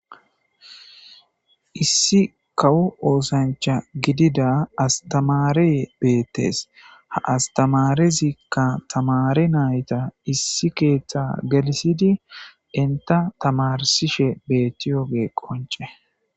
issi kawo oosancha gidida astamaree beettes ha astamarezikka tamare nayta issi keeththa gelisidi inta tamarsishe beettiyoge qonce